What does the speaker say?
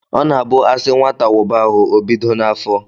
Ọ na-abụ asị nwata wụba ahụ, ọ bido n'afọ.